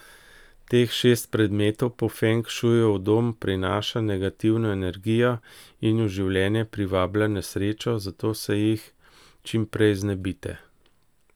Teh šest predmetov po feng šuju v dom prinaša negativno energijo in v življenje privablja nesrečo, zato se jih čim prej znebite.